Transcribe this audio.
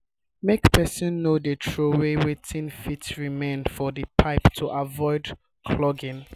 make person no de trowey wetin fit remain for the pipe to avoid clogging